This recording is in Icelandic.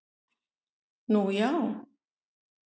Nú já?